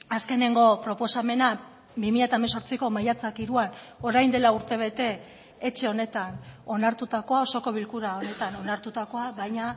azkeneko proposamena bi mila hemezortziko maiatzak hiruan orain dela urtebete etxe honetan onartutakoa osoko bilkura honetan onartutakoa baina